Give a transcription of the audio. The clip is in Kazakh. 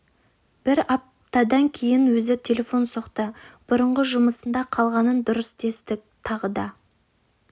бір аптадан кейін өзі телефон соқты бұрынғы жұмысында қалғанын дұрыс дестік тағы да